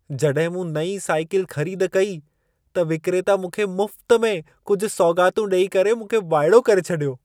जॾहिं मूं नईं साइकल ख़रीद कई त विक्रेता मूंखे मुफ़्त में कुझु सौग़ातूं ॾई करे मूंखे वाइड़ो करे छॾियो।